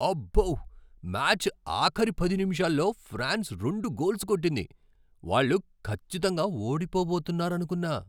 అబ్బో! మ్యాచ్ ఆఖరి పది నిముషాల్లో ఫ్రాన్స్ రెండు గోల్స్ కొట్టింది! వాళ్ళు ఖచ్చితంగా ఓడిపోబోతున్నారనుకున్నా.